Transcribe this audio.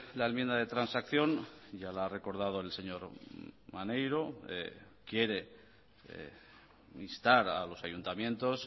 la enmienda de transacción ya la ha recordado el señor maneiro quiere instar a los ayuntamientos